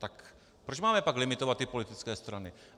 Tak proč máme pak limitovat ty politické strany?